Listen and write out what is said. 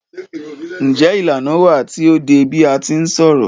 Njé ìlànà wà tí o dé bi a ti ń ṣọ̀rọ̀?